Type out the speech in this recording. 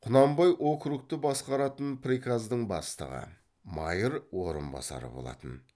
құнанбай округті басқаратын приказдың бастығы майыр орынбасары болатын